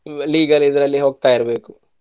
legal ಇದ್ರಲ್ಲಿ ಹೋಗ್ತಾ ಇರ್ಬೇಕು.